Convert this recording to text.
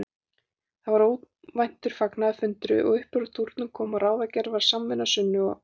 Varð þar óvæntur fagnaðarfundur og uppúr dúrnum kom að ráðgerð var samvinna Sunnu og